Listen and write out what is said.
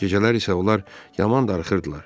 Gecələr isə onlar yaman darıxırdılar.